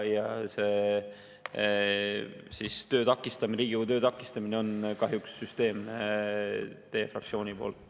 Ja see Riigikogu töö takistamine on kahjuks süsteemne teie fraktsiooni poolt.